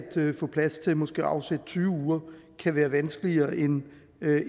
få plads til måske at afsætte tyve uger kan være vanskeligere end